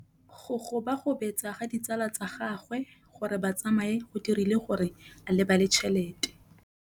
Go gobagobetsa ga ditsala tsa gagwe, gore ba tsamaye go dirile gore a lebale tšhelete.